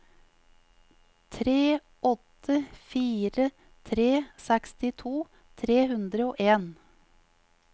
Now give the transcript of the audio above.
tre åtte fire tre sekstito tre hundre og en